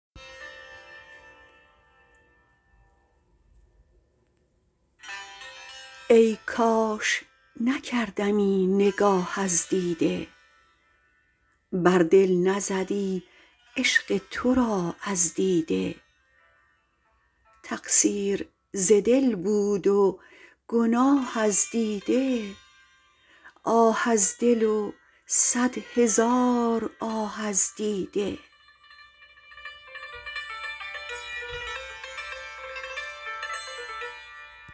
ای کاش نکردمی نگاه از دیده بر دل نزدی عشق تو راه از دیده تقصیر ز دل بود و گناه از دیده آه از دل و صد هزار آه از دیده